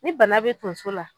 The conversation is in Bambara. Ni bana be tonso la